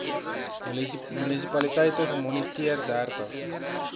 munisipaliteite gemoniteer dertig